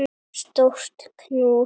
Stórt knús.